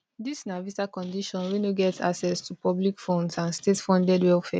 dis na visa condition wey no get access to public funds and statefunded welfare